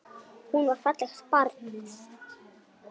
Hún var fallegt barn.